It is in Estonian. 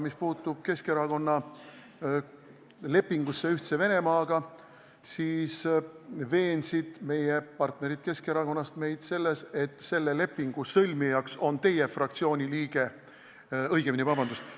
Mis puutub Keskerakonna lepingusse Ühtse Venemaaga, siis veensid meie partnerid Keskerakonnast meid selles, et selle lepingu sõlmija on teie fraktsiooni liige – vabandust!